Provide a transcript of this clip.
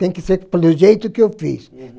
Tem que ser pelo jeito que eu fiz. Uhum